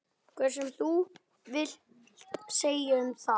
Eitthvað sem þú vilt segja um það?